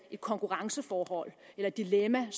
konkurrenceforhold eller et dilemma